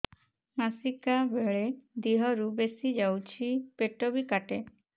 ମାସିକା ବେଳେ ଦିହରୁ ବେଶି ଯାଉଛି ପେଟ ବି କାଟେ